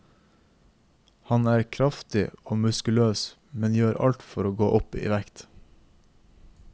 Han er kraftig og muskuløs, men gjør alt for å gå opp i vekt.